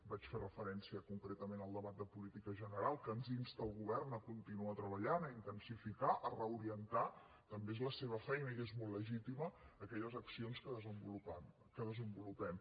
vaig fer referència concretament al debat de política general que ens insta al govern a continuar treballant a intensificar a reorientar també és la seva feina i és molt legítima aquelles accions que desenvolupem